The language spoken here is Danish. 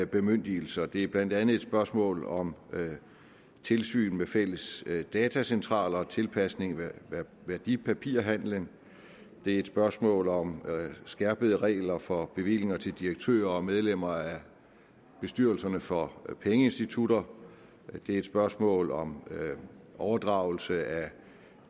bemyndigelser det er blandt andet et spørgsmål om tilsyn med fælles datacentraler og tilpasning af værdipapirhandelen det er et spørgsmål om skærpede regler for bevillinger til direktører og medlemmer af bestyrelserne for pengeinstitutter det er et spørgsmål om overdragelse af